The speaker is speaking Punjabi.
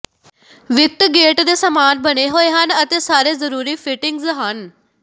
ਵਿਕਟ ਗੇਟ ਦੇ ਸਮਾਨ ਬਣੇ ਹੋਏ ਹਨ ਅਤੇ ਸਾਰੇ ਜਰੂਰੀ ਫਿਟਿੰਗਜ਼ ਹਨ